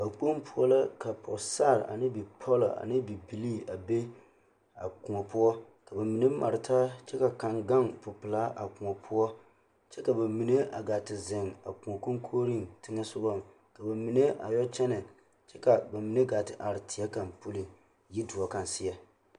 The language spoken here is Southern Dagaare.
Dakpoŋi poɔ la ka pɔgesara ane bipɔle ane bibilii a be a koɔ poɔ ka mine mare taa kyɛ ka kaŋ gaŋ popeɛloŋ a koɔ poɔ kyɛ ka bamine a gaa te zeŋ a koɔ koŋkogriŋ teŋɛ sogɔŋ ka bamine a yɔ kyɛnɛ ka bamine gaa te are teɛ kaŋa puliŋ yidoɔ kaŋ seɛ.